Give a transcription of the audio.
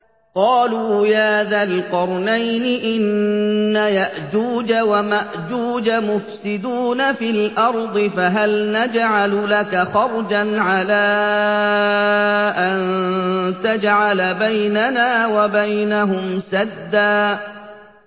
قَالُوا يَا ذَا الْقَرْنَيْنِ إِنَّ يَأْجُوجَ وَمَأْجُوجَ مُفْسِدُونَ فِي الْأَرْضِ فَهَلْ نَجْعَلُ لَكَ خَرْجًا عَلَىٰ أَن تَجْعَلَ بَيْنَنَا وَبَيْنَهُمْ سَدًّا